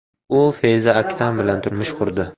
U Feyza Aktan bilan turmush qurdi.